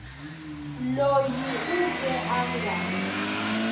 loyi u ke a nga